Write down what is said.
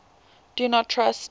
do not trust